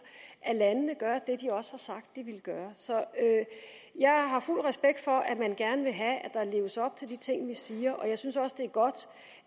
at landene gør det de også har sagt at de vil gøre jeg har fuld respekt for at man gerne vil have at der leves op til de ting vi siger jeg synes også det er godt